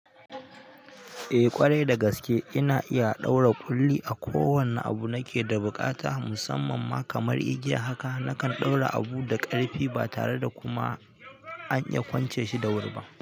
Eh, ƙwarai da gaske, ina iya ɗaura ƙulli a kowane abu nake da buƙata, musamman ma kamar igiya haka naka ɗaura abu da ƙarfi ba tare da kuma an iya kwance shi da wuri ba.